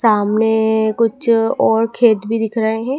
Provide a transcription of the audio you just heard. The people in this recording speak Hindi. सामने कुछ और खेत भी दिख रहे हैं।